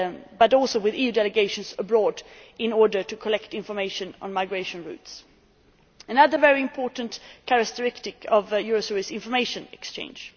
but also with EU delegations abroad in order to collect information on migration routes. Another very important characteristic of Eurosur is information exchange'.